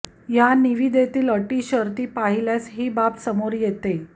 या निविदेतील अटीशर्तीं पाहिल्यास ही बाब समोर येते